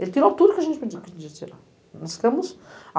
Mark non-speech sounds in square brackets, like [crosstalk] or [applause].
Ele tirou tudo que a gente pediu. [unintelligible] Nós ficamos